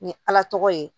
Ni ala tɔgɔ ye